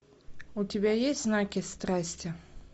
у тебя есть знаки страсти